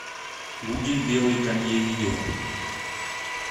гуди белый канье видео